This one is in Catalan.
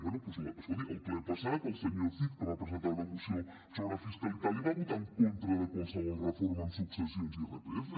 bé doncs escolti en el ple passat el senyor cid que va presentar una moció sobre fiscalitat li va votar en contra de qualsevol reforma en successions i irpf